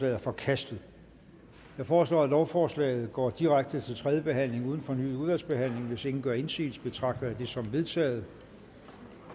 er forkastet jeg foreslår at lovforslaget går direkte til tredje behandling uden fornyet udvalgsbehandling hvis ingen gør indsigelse betragter jeg det som vedtaget